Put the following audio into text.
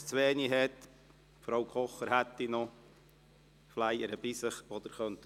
Für den Fall, dass es zu wenige hat, hat Frau Kocher noch welche bei sich, die Sie mitnehmen könnten.